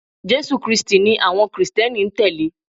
Jésù krístì ni àwọn krìsténi n tẹ̀lé